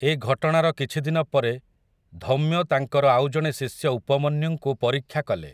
ଏ ଘଟଣାର କିଛି ଦିନ ପରେ ଧୌମ୍ୟ ତାଙ୍କର ଆଉ ଜଣେ ଶିଷ୍ୟ ଉପମନ୍ୟୁଙ୍କୁ ପରୀକ୍ଷା କଲେ ।